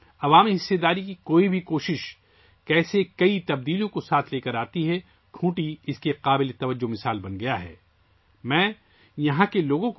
کھنٹی اس بات کی ایک روشن مثال بن گیا ہے کہ کس طرح عوامی شرکت کی کوئی بھی کوشش اپنے ساتھ بہت سی تبدیلیاں لاتی ہے